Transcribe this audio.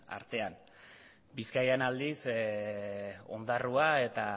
artean bizkaian aldiz ondarroan eta